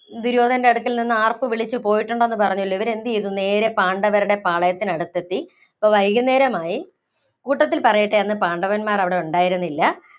ദുര്യോധനന്‍റെ അടുക്കല്‍ നിന്ന് ആര്‍പ്പ് വിളിച്ച് പോയിട്ടുണ്ടെന്ന് പറഞ്ഞല്ലോ. ഇവര് എന്തു ചെയ്തു? നേരേ പാണ്ഡവരുടെ പാളയത്തിന് അടുത്തെത്തി. അപ്പോ വൈകുന്നേരമായി. കൂട്ടത്തില്‍ പറയട്ടെ, അന്ന് പാണ്ഡവന്മാര്‍ അവിടെ ഉണ്ടായിരുന്നില്ല.